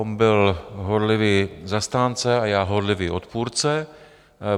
On byl horlivý zastánce a já horlivý odpůrce.